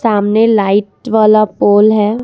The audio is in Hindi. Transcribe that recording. सामने लाइट वाला पोल है।